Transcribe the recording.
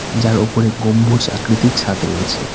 যার ওপরে গম্বুজ আকৃতির ছাদ রয়েছে।